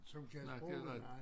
Som kan sproget nej